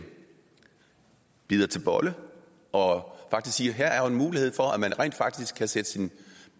bider til bolle og siger at her er der jo en mulighed for at man rent faktisk kan sætte sin